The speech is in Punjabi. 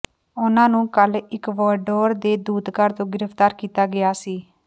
ਉਨ੍ਹਾਂ ਨੂੰ ਕੱਲ ਇਕਵਾਡੋਰ ਦੇ ਦੂਤਘਰ ਤੋਂ ਗ੍ਰਿਫਤਾਰ ਕੀਤਾ ਗਿਆ ਸੀ